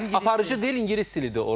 Aparıcı dil ingilis dilidir orda, hə?